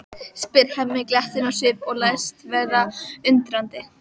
spyr Hemmi glettinn á svip og læst vera undrandi.